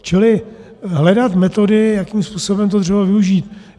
Čili hledat metody, jakým způsobem to dřevo využít.